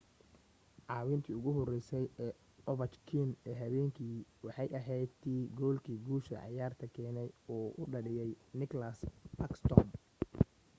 caawintii ugu horeysay ee overchkin ee habeenka waxay ahayd tii goolkii guusha ciyaarta keenay uu dhaliyay nicklas backsrtom